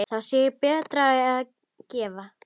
Þá sé betra að gefa.